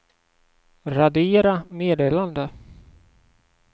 radera meddelande